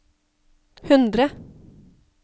hundre